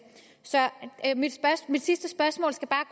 så mit sidste spørgsmål skal bare